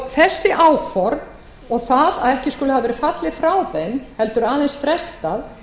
þessi áform og það að ekki skuli hafa verið fallið frá þeim heldur aðeins frestað